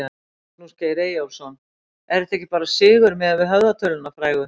Magnús Geir Eyjólfsson: Er þetta ekki bara sigur miðað við höfðatöluna frægu?